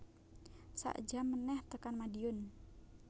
Sak jam meneh tekan Madiun